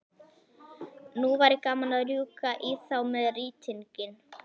Nú væri gaman að rjúka í þá með rýtinginn.